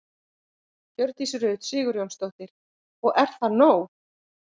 Hjördís Rut Sigurjónsdóttir: Og er það nóg?